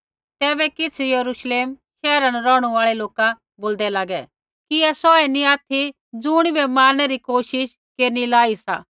तैबै किछ़ यरूश्लेम शैहरा न रौहणु आल़ै लोका बोल्दै लागै कि ऐ सौऐ नी ऑथि ज़ुणिबै मारणै री कोशिश केरनी लाई सा